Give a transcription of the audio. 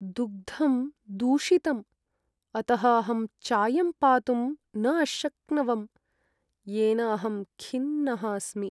दुग्धं दूषितं, अतः अहं चायं पातुं न अशक्नवम्, येन अहं खिन्नः अस्मि।